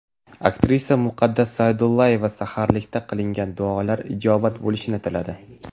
Aktrisa Muqaddas Sa’dullayeva saharlikda qilingan duolar ijobat bo‘lishini tiladi.